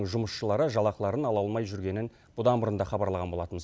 жұмысшылары жалақыларын ала алмай жүргенін бұдан бұрын да хабарлаған болатынбыз